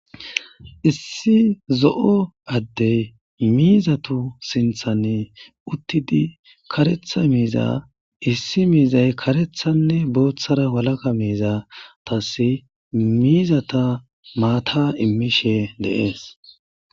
Issi zo'o addey miizatu sinthani uttidi karetha miiza issi miizay karethanne booththara walaka miiza tasi miizata maata immishe dees.